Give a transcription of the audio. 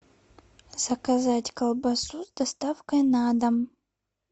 заказать колбасу с доставкой на дом